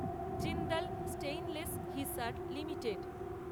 Jindal stainless Hisar limited